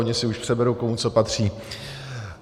Oni si už přeberou, komu co patří.